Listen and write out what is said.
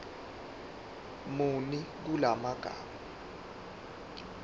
muni kula magama